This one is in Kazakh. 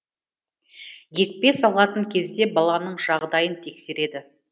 екпе салатын кезде баланың жағдайын тексереді